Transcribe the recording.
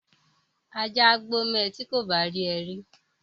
Ajá á gbó mọ ẹ ti kò bá rí ẹ rí